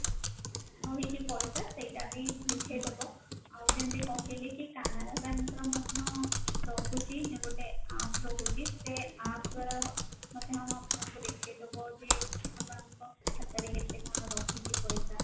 ରହିଛି ପଇସା ସେଇଟା ଵି ଦେଖେଇଦେବ ଆଉ ଯେମତି କହିଲି କି canara bank ର ମଧ୍ୟ ରହୁଛି ଯେ ଗୋଟେ app ରହୁଛି ସେ app ଦ୍ଵାରା ମଧ୍ୟ ଆପଣଙ୍କୁ ଦେଖେଇଦେବ ଯେ ଆପଣଙ୍କ ଖାତାରେ କେତେ କଣ ରହିଛି ପଇସା